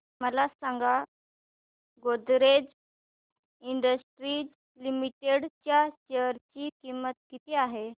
मला सांगा Godrej industries limited च्या शेअर ची किंमत किती आहे